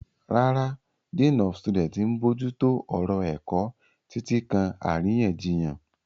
Rárá, Dean of Studies ń bójú tó ọ̀rọ̀ ẹ̀kọ́, títí kan àríyànjiyàn.